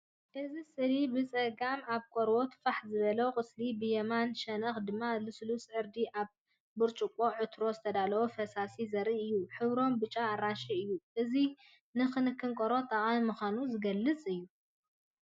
እዚ ስእሊ ብጸጋም ኣብ ቆርበት ፋሕ ዝበለ ቁስሊ ብየማናይ ሸነኽ ድማ ልስሉስ ዕርዲ ኣብ ብርጭቆ ዕትሮ ዝተዳለወ ፈሳሲን ዘርኢ እዩ። ሕብሮም ብጫን ኣራንሺን እዩ። እዚ ንክንከን ቆርበት ጠቃሚ ምኳኑ ዝገልፅ እዩ።